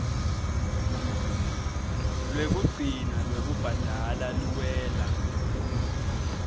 lwekugcina lwekubhadala luwela